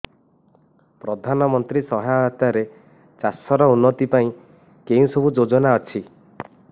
ପ୍ରଧାନମନ୍ତ୍ରୀ ସହାୟତା ରେ ଚାଷ ର ଉନ୍ନତି ପାଇଁ କେଉଁ ସବୁ ଯୋଜନା ଅଛି